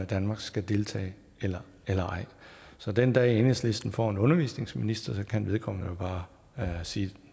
danmark skal deltage eller eller ej så den dag enhedslisten får en undervisningsminister kan vedkommende jo bare sige at